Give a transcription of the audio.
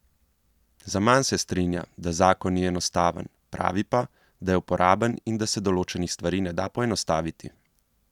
Zaman se strinja, da zakon ni enostaven, pravi pa, da je uporaben in da se določenih stvari ne da poenostaviti.